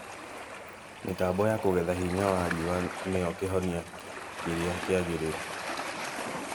Mĩtambo ya kũgetha hinya wa riũa nĩyo kĩhonia kĩrĩa kĩagĩrĩru